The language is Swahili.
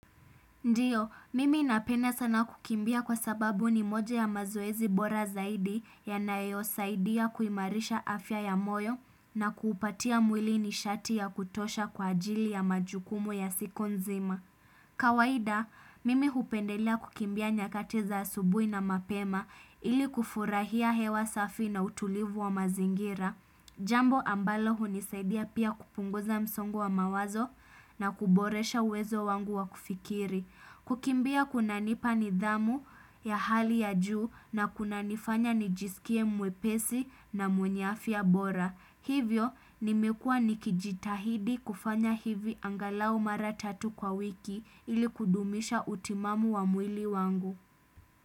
Ndiyo, mimi napenda sana kukimbia kwa sababu ni moja ya mazoezi bora zaidi yanayo saidia kuimarisha afya ya moyo na kuupatia mwili nishati ya kutosha kwa ajili ya majukumu ya siku nzima. Kawaida, mimi hupendelea kukimbia nyakati za asubui na mapema ili kufurahia hewa safi na utulivu wa mazingira. Jambo ambalo hunisaidia pia kupunguza msongo wa mawazo na kuboresha uwezo wangu wa kufikiri. Kukimbia kuna nipa nidhamu ya hali ya juu na kuna nifanya nijisikie mwepesi na mwenye afya bora. Hivyo, nimekua nikijitahidi kufanya hivi angalau maratatu kwa wiki ili kudumisha utimamu wa mwili wangu.